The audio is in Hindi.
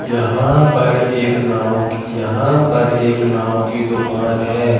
यहां पर एक नाउ यहां पर एक नाउ की दुकान है।